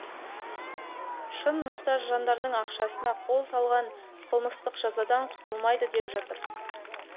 шын мұқтаж жандардың ақшасына қол салғандар қылмыстық жазадан құтылмайды деп жатыр